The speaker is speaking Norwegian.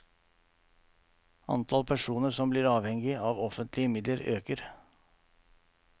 Antall personer som blir avhengig av offentlige midler øker.